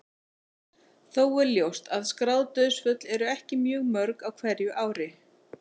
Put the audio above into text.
Þó er ljóst að skráð dauðsföll eru ekki mjög mörg á hverju ári.